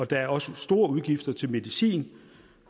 der er også store udgifter til medicin